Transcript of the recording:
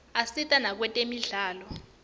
asita nakwetemidlalo